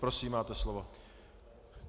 Prosím, máte slovo.